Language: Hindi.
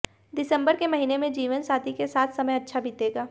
दिसंबर के महीने में जीवनसाथी के साथ समय अच्छा बीतेगा